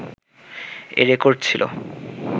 এ record ছিলো